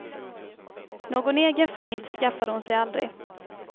Någon egen familj skaffade hon sig aldrig.